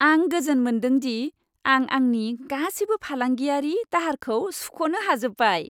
आं गोजोन मोनदों दि आं आंनि गासिबो फालांगियारि दाहारखौ सुख'नो हाजोब्बाय।